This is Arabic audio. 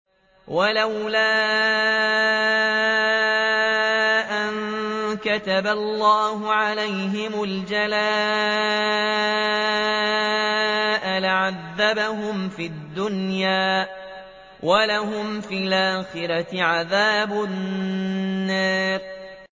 وَلَوْلَا أَن كَتَبَ اللَّهُ عَلَيْهِمُ الْجَلَاءَ لَعَذَّبَهُمْ فِي الدُّنْيَا ۖ وَلَهُمْ فِي الْآخِرَةِ عَذَابُ النَّارِ